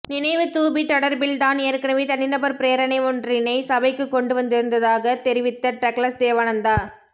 நினைவுத்தூபி தொடர்பில் தான் ஏற்கனவே தனிநபர் பிரேரணை ஒன்றினை சபைக்கு கொண்டு வந்திருந்தாக தெரிவித்த டக்ளஸ் தேவானந்தா